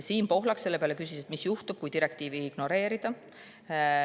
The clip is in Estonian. Siim Pohlak küsis selle peale, et mis juhtub siis, kui direktiivi ignoreerida.